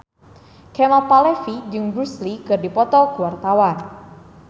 Kemal Palevi jeung Bruce Lee keur dipoto ku wartawan